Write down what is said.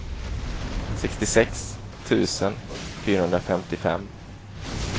sextiosex tusen fyrahundrafemtiofem